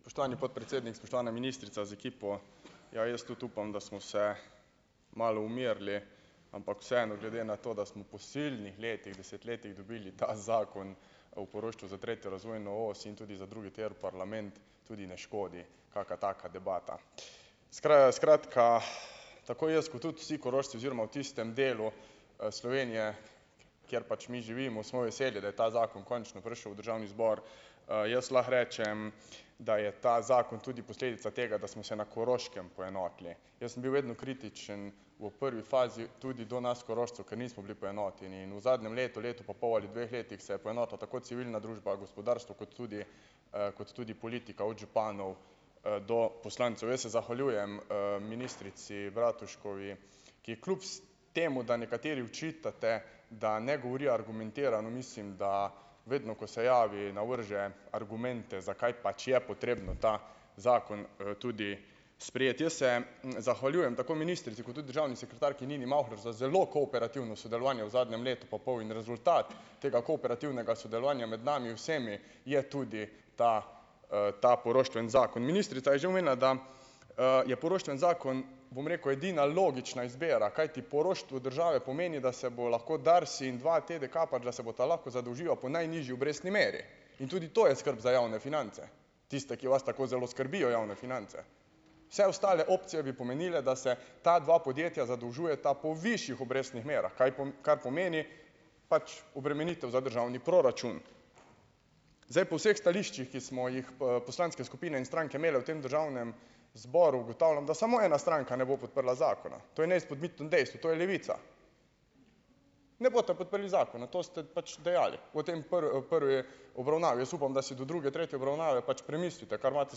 Spoštovani podpredsednik, spoštovana ministrica z ekipo. Ja, jaz tudi upam, da smo se malo umirili, ampak vseeno, glede na to, da smo po silnih letih, desetletjih dobili ta Zakon o poroštvu za tretjo razvojno os in tudi za drugi tir v parlament, tudi ne škodi kaka taka debata. skratka, tako jaz kot tudi vsi Korošci oziroma v tistem delu, Slovenije, kjer pač mi živimo, smo veseli, da je ta zakon končno prišel v državni zbor. jaz lahko rečem, da je ta zakon tudi posledica tega, da smo se na Koroškem poenotili. Jaz sem bil vedno kritičen v prvi fazi tudi do nas Korošcev, ker nismo bili poenoteni, in v zadnjem letu, letu pa pol ali dveh letih se je poenotila tako civilna družba, gospodarstvo, kot tudi, kot tudi politika. Od županov, do poslancev. Jaz se zahvaljujem, ministrici Bratuškovi, ki je kljub temu, da nekateri očitate, da ne govori argumentirano, mislim, da vedno, ko se javi, navrže argumente, zakaj pač je potrebno ta zakon, tudi sprejeti. Jaz se, zahvaljujem tako ministrici kot tudi državni sekretarki Nini Mavhler za zelo kooperativno sodelovanje v zadnjem letu pa pol in rezultat tega kooperativnega sodelovanja med nami vsemi je tudi ta, ta poroštveni zakon. Ministrica je že omenila, da, je poroštveni zakon, bom rekel, edina logična izbira, kajti poroštvo države pomeni, da se bo lahko DARS in dvaTDK, pa da se bosta lahko zadolžila po najnižji obrestni meri. In tudi to je skrb za javne finance. Tiste, ki vas tako zelo skrbijo javne finance. Vse ostale opcije bi pomenile, da se ti dve podjetji zadolžujeta po višjih obrestnih merah, kaj kar pomeni, pač obremenitev za državni proračun. Zdaj, po vseh stališčih, ki smo jih, poslanske skupine in stranke imele v tem državnem zboru, ugotavlja, da samo ena stranka ne bo podprla zakona. To je neizpodbitno dejstvo, to je Levica. Ne boste podprli zakona. To ste pač dejali v tem prvi obravnavi. Jaz upam, da si do druge, tretje obravnave pač premislite, kar imate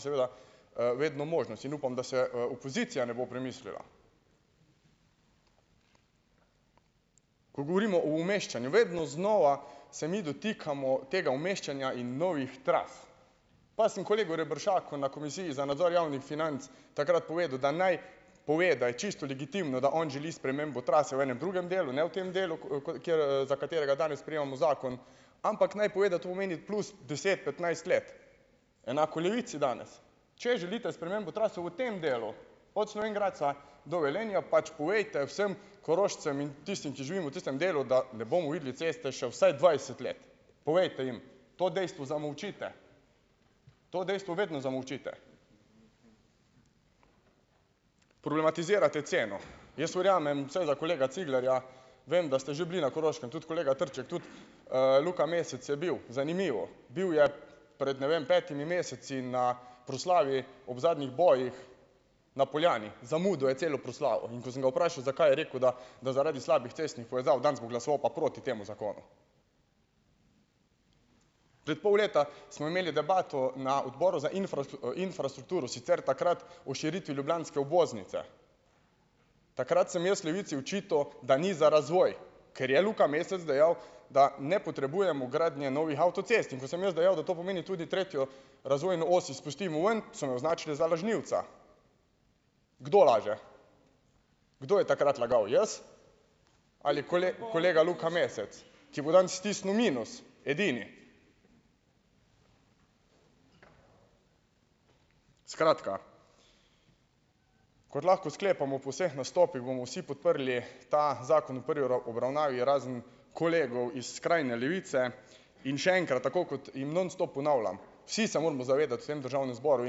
seveda, vedno možnost. In upam, da se, opozicija ne bo premislila. Ko govorimo v umeščanju, vedno znova se mi dotikamo tega umeščanja in novih tras. Pa sem kolegu Reberšaku na komisiji za nadzor javnih financ takrat povedal, da naj pove, da je čisto legitimno, da on želi spremembo trase v enem drugem delu, ne v tem delu, za katerega danes sprejemamo zakon, ampak naj pove, da to pomeni plus deset, petnajst let. Enako Levici danes. Če želite spremembo trase v tem delu, od Slovenj Gradca do Velenja, pa povejte vsem Korošcem in tistim, ki živimo v tistem delu, da ne bomo videli ceste še vsaj dvajset let. Povejte jim. To dejstvo zamolčite. To jezo vedno zamolčite. Problematizirate ceno. Jaz verjamem, seveda kolega Ciglarja, vem, da ste že bili na Koroškem. Tudi kolega Trček, tudi, Luka Mesec je bil. Zanimivo. Bil je pred, ne vem, petimi meseci na proslavi ob zadnjih bojih na Poljani. Zamudil je celo proslavo. In ko sem ga vprašal, zakaj, je rekel, da zaradi slabih cestnih povezav, danes bo pa glasoval proti temu zakonu. Zed, v pol leta smo imeli debato na odboru za infrastrukturo. Sicer takrat o širitvi ljubljanske obvoznice. Takrat sem jaz Levici očital, da ni za razvoj. Ker je Luka Mesec dejal, da ne potrebujemo gradnje novih avtocest. In, ko sem jaz dejal, da to pomeni tudi tretjo razvojno os izpustimo ven, so me označili za lažnivca. Kdo laže? Kdo je takrat lagal? Jaz ali kolega Luka Mesec? Ki bo danes stisnil minus. Edini. Skratka. Kot lahko sklepamo po vseh nastopih, bomo vsi podrli ta zakon v prvi obravnavi, razen kolegov iz skrajne Levice. In še enkrat. Tako kot jim non stop ponavljam, vsi se moramo zavedati vsem državnem zboru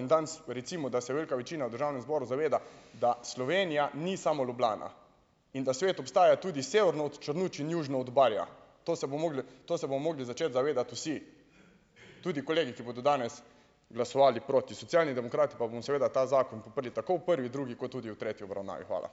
in danes recimo, da se velika večina v državnem zboru zaveda, da Slovenija ni samo Ljubljana. In da svet obstaja tudi severno od Črnuč in južino od Barja. To se bo mogli, to se bomo mogli začeti zavedati vsi. Tudi kolegi, ki bodo danes glasovali proti. Socialni demokrati pa bomo seveda ta zakon podprli tako v prvi, drugi kot tudi v tretji obravnavi. Hvala.